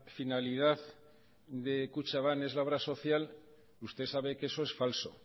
finalidad de kutxabank es la obra social usted sabe que eso es falso